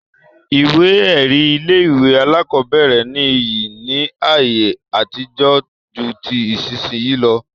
Ìwé ẹ̀rí ilé-ìwé alákọ̀ọ́bẹ̀rẹ̀ ní iyì ní ayé àtijó ju ti ìsinsìnyí lọ.